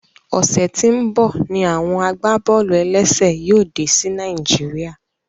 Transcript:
Ọsẹ tí n bọ ní àwọn agbábọ́ọlù-ẹlẹ́sẹ̀ yóò dé sí Naijiria